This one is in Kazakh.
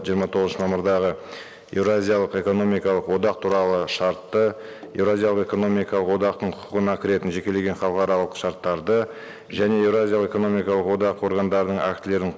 жиырма тоғызыншы мамырдағы еуразиялық экономикалық одақ туралы шартты еуразиялық экономикалық одақтың құқығына кіретін жекелеген халықаралық шарттарды және еуразиялық экономикалық одақ органдарының актілерін